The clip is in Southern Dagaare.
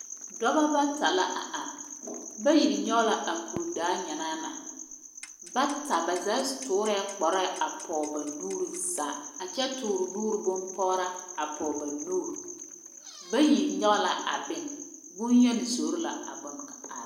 Dɔbɔ bata la a are, bayi nyɔge la a kuridaa nyanaa na. Bata ba zaa toorɛɛ kpare pɔge ba nuuri zaa a kyɛ toore nuuri bompɔraa ba nuuri. Bayi nyɔge la bone boyeni zoro la bone ka a.